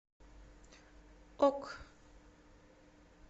ок